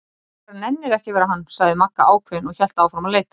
Þú bara nennir ekki að vera hann, sagði Magga ákveðin og hélt áfram að leita.